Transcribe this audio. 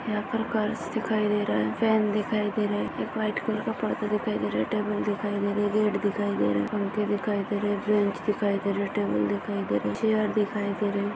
यहाँ पर गर्ल्स दिखाई दे रहे है फैन दिखाई दे रहा है एक व्हाइट कलर पड़दा दिखाई दे रहा है टेबल दिखाई दे रहा है गेट दिखाई दे रहा है पंखे दिखाई दे रही है दिखाई दे रहे है टेबला दिखाई दे रहे है चैर दिखाई दे रहे है।